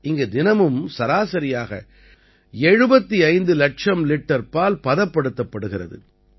இங்கு தினமும் சராசரியாக 75 லட்சம் லிட்டர் பால் பதப்படுத்தப்படுகிறது